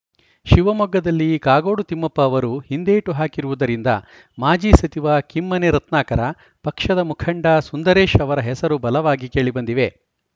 ಶಿವಮೊಗ್ಗದಲ್ಲಿ ಕಾಗೋಡು ತಿಮ್ಮಪ್ಪ ಅವರು ಹಿಂದೇಟು ಹಾಕಿರುವುದರಿಂದ ಮಾಜಿ ಸಚಿವ ಕಿಮ್ಮನೆ ರತ್ನಾಕರ ಪಕ್ಷದ ಮುಖಂಡ ಸುಂದರೇಶ್‌ ಅವರ ಹೆಸರು ಬಲವಾಗಿ ಕೇಳಿಬಂದಿವೆ